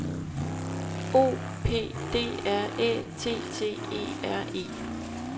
O P D R Æ T T E R E